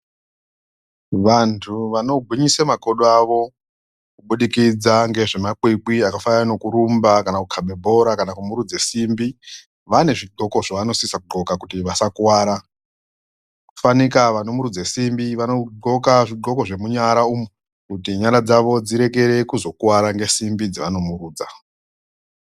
Vantu vanongwinyisa makodo avo kubudikidza nengezvemakwikwi zvakaita sekurumba kukaba bhora kana kumurudza simbi vane zvidhoko zvavanosisa kudhloka kuti vasakuwara fanika vanomurudza simbi vanodhloka zvidhloko zvenyara kuti nyara dzavo dzirege kuzokuwara ne simbi dzavanomurudza.